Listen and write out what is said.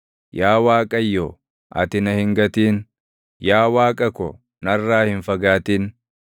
Yaa Waaqayyo, ati na hin gatin; yaa Waaqa ko, narraa hin fagaatin.